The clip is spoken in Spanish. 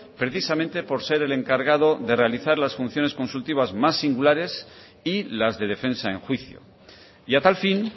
precisamente por ser el encargado de realizar las funciones consultivas más singulares y las de defensa en juicio y a tal fin